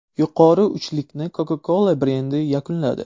Yuqori uchlikni Coca-Cola brendi yakunladi.